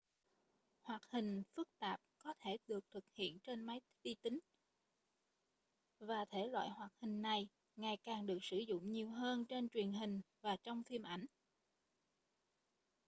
hoạt hình phức tạp có thể được thực hiện trên máy vi tính và thể loại hoạt hình này ngày càng được sử dụng nhiều hơn trên truyền hình và trong phim ảnh